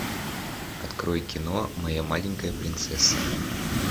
открой кино моя маленькая принцесса